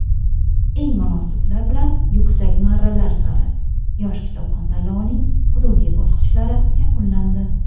Eng munosiblar bilan yuksak marralar sari: "Yosh kitobxon" tanlovining hududiy bosqichlari yakunlandi!.